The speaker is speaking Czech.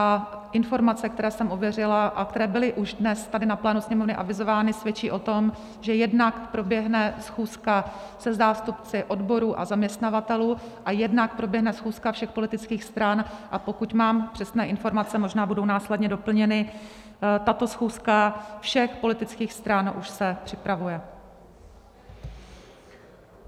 A informace, které jsem ověřila a které byly už dnes tady na plénu Sněmovny avizovány, svědčí o tom, že jednak proběhne schůzka se zástupci odborů a zaměstnavatelů a jednak proběhne schůzka všech politických stran, a pokud mám přesné informace, možná budou následně doplněny, tato schůzka všech politických stran už se připravuje.